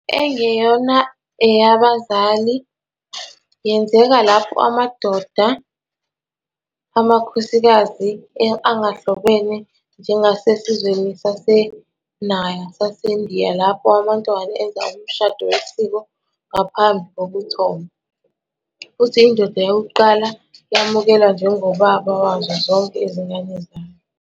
"Engeyona eyabazali" yenzeka lapho amadoda amakhosikazi engahlobene, njengasesizweni saseNayar saseNdiya, lapho amantombazane enza umshado wesiko ngaphambi kokuthomba, futhi indoda yokuqala yamukelwa njengobaba wazo zonke izingane zayo.